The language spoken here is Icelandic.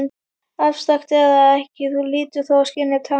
Afstrakt eða ekki, Þú hlýtur þó að skynja tjáninguna.